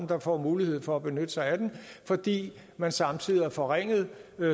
der får mulighed for at benytte sig af den fordi man samtidig har forringet